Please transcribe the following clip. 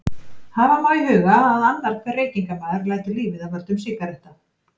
Hafa má í huga að annar hver reykingamaður lætur lífið af völdum sígaretta.